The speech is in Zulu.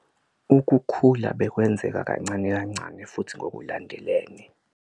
Ukukhula bekwenzeka kancane kancane futhi ngokulandelene.